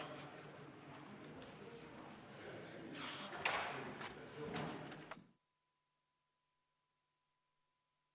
Istungi lõpp kell 15.26.